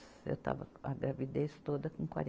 Eu estava com a gravidez toda com